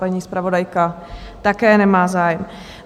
Paní zpravodajka také nemá zájem.